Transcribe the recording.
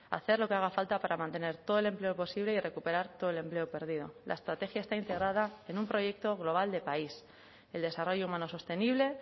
hacer lo que haga falta para mantener todo el empleo posible y recuperar todo el empleo perdido la estrategia está integrada en un proyecto global de país el desarrollo humano sostenible